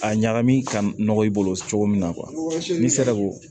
A ɲagami ka nɔgɔ i bolo cogo min na n'i sera ko